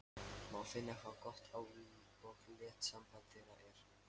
Má finna hve gott og létt samband þeirra er.